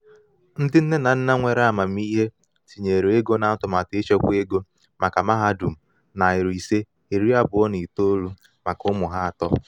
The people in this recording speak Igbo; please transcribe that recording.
ndi nne na nna nwere amamihe tinyere ego na atụmatụ ịchekwa ego maka mahadum nari ise iri abuo na itoou maka ụmụ ha atọ.